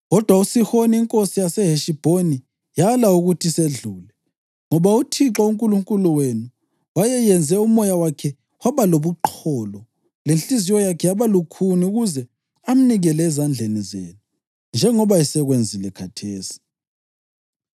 Kodwa uSihoni inkosi yaseHeshibhoni yala ukuthi sedlule. Ngoba uThixo uNkulunkulu wenu wayeyenze umoya wakhe waba lobuqholo lenhliziyo yakhe yaba lukhuni ukuze amnikele ezandleni zenu, njengoba esekwenzile khathesi.